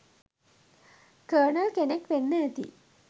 colonel” කෙනෙක් වෙන්න ඇති